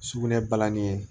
Sugunɛ balani ye